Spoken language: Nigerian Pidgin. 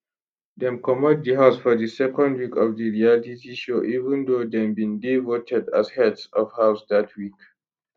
dem comot di house for di second week of di reality show even though dem bin dey voted as heads of house dat week